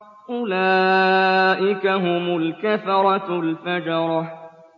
أُولَٰئِكَ هُمُ الْكَفَرَةُ الْفَجَرَةُ